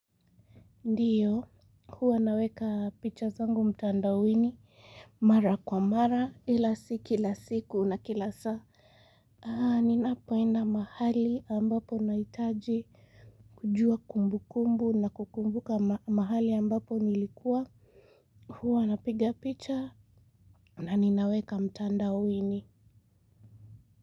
Ndiyo huwa naweka picha zangu mtandaoini mara kwa mara ila si kila siku na kila saa aa ninapoenda mahali ambapo ninahitaji kujua kumbu kumbu na kukumbuka mahali ambapo nilikuwa huwa na piga picha na ninaweka mtanda uini.